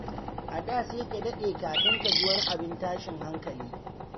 A da sai ka daɗe kafin ka ji wani abin tashin hankali.